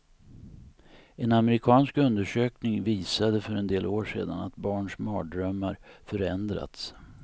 En amerikansk undersökning visade för en del år sedan att barns mardrömmar förändrats.